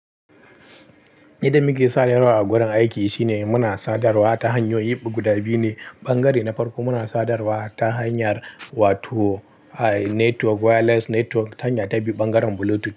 Idan muke sadarwa a wurin aiki shine muna sadarwa ta hanyoyi biyu guda biyu ne bangare na farko muna sadarwa ta hanyar wato network wireless network hanya ta biyu bangaren bluetooth.